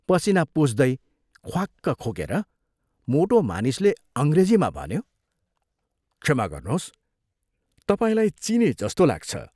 पसीना पुछ्दै ख्वाक्क खोकेर मोटो मानिसले अंग्रेजीमा भन्यो, "क्षमा गर्नोस्, तपाईंलाई चिने जस्तो लाग्छ।